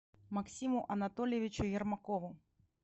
максиму анатольевичу ермакову